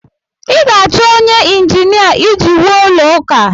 ị ga-achọ onye ịnjinia iji wuo ụlọ ụka